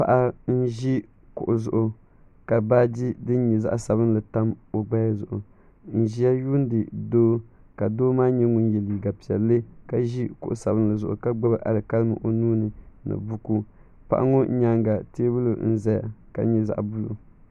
Paɣa n ʒi kuɣu zuɣu ka baaji din nyɛ zaɣa sabinli tam o gbaya zuɣu n ʒia yuuni doo ka doo maa nyɛ ŋun ye liiga piɛlli ka ʒi kuɣu sabinli zuɣu ka gbibi alikalimi o nuuni ni buku paɣa ŋɔ nyaanga teebuli n zaya ka nyɛ zaɣa buluu.